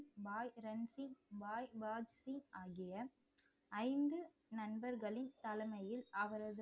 பாய் ரன்சி பாய் வாட்ஸி ஆகிய ஐந்து நண்பர்களின் தலைமையில் அவரது